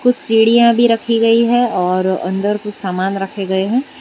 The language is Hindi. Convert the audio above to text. सीढ़ियां भी रखी गई हैं और अंदर कुछ सामान रखे गए हैं।